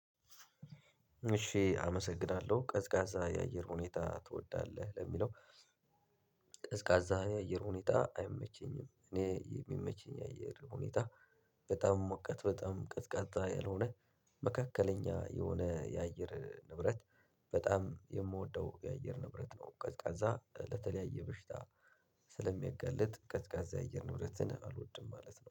እሺ አመሰግናለሁ ቀዝቃዛ የአየር ሁኔታ ትወዳለህ ለሚለው? ቀዝቃዛ የአየር ሁኔታ አይመቸኝም እኔ የሚመቸኝ የአየር ሁኔታ። በጣም ሙቀት በጣም ቀዝቃዛ ያልሆነ መካከለኛ የሆነ የአየር ንብረት በጣም የምወደው የአየር ንብረት ነው። ቀዝቃዛ ለተለያየ በሽታ። ስለሚያጋልጥ ቀዝቃዛ የአየር ንብረትን አልወድም ማለት ነው